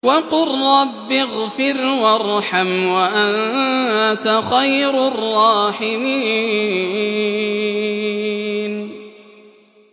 وَقُل رَّبِّ اغْفِرْ وَارْحَمْ وَأَنتَ خَيْرُ الرَّاحِمِينَ